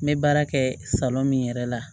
N bɛ baara kɛ min yɛrɛ la